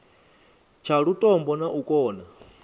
tsha lutombo na u kona